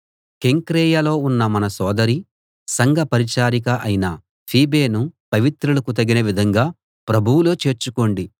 కెంక్రేయలో ఉన్న మన సోదరి సంఘ పరిచారిక అయిన ఫీబేను పవిత్రులకు తగిన విధంగా ప్రభువులో చేర్చుకోండి